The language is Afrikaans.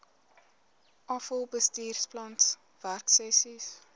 afal bestuursplan werksessies